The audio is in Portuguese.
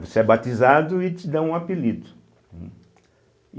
Você é batizado e te dão um apelido.